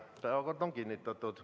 Päevakord on kinnitatud.